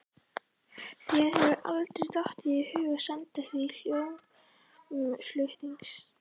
Þér hefur aldrei dottið í hug að senda því hljómflutningstæki?